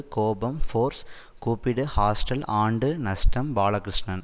கோபம் ஃபோர்ஸ் கூப்பிடு ஹாஸ்டல் ஆண்டு நஷ்டம் பாலகிருஷ்ணன்